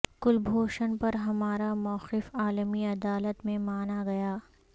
کلبھوشن پر ہمارا موقف عالمی عدالت میں مانا گیا